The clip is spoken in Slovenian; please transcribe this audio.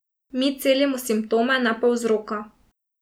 Mi celimo simptome, ne pa vzroka.